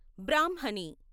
బ్రాహ్మణి